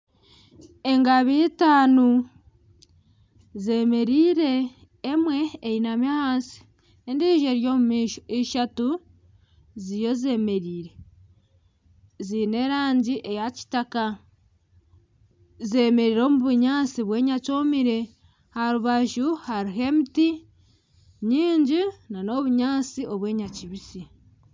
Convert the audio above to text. Engabi itaano zemereire. Emwe einami ahansi, endijo eri omu maisho. Ishatu ziriyo zemereire ziine erangi eya kitaka. Zemereire omu bunyaatsi bw'enyakyomire. Aha rubaju hariho emiti mingi nana obunyaatsi obw'enyakibisi